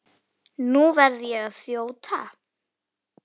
Nú verð ég að þjóta.